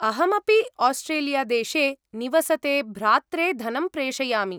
अहमपि आस्ट्रेलियादेशे निवसते भ्रात्रे धनं प्रेषयामि।